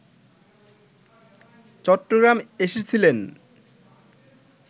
চট্টগ্রাম এসেছিলেন